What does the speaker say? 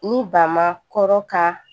Ni ba ma kɔrɔ ka